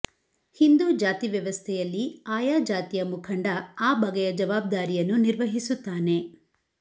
ಹಿಂದೂ ಜಾತಿವ್ಯವಸ್ಥೆಯಲ್ಲಿ ಆಯಾ ಜಾತಿಯ ಮುಖಂಡ ಆ ಬಗೆಯ ಜವಾಬ್ದಾರಿಯನ್ನು ನಿರ್ವಹಿಸುತ್ತಾನೆ